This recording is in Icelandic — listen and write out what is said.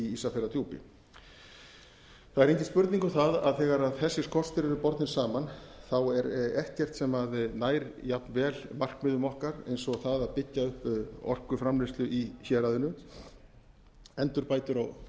ísafjarðardjúpi það er engin spurning um það að þegar þessir kostir eru bornir saman er ekkert sem nær jafnvel markmiðum okkar og það að byggja upp orkuframleiðslu í héraðinu endurbætur